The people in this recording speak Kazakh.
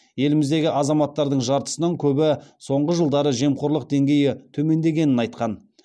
еліміздегі азаматтардың жартысынан көбі соңғы жылдары жемқорлық деңгейі төмендегенін айтқан